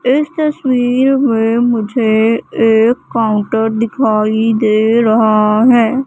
इस तस्वीर में मुझे एक काउंटर दिखाई दे रहा है।